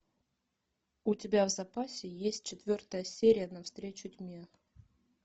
у тебя в запасе есть четвертая серия навстречу тьме